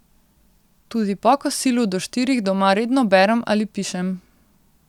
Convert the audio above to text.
Tudi po kosilu do štirih doma redno berem ali pišem.